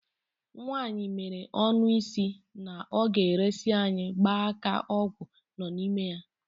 Nwaanyị meere ọnụ si na ọ ga-eresi anyị gba aka ọgwụ nọ n'ime ya.